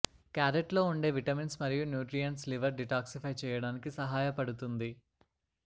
carrot లో ఉండే vitamins మరియు న్యూట్రియంట్స్ లివర్ డిటాక్సిఫై చేయడానికి సహాయపడుతుంది